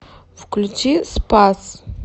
включи спас